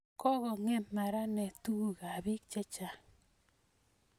kokongem maranet tukukab biik chechang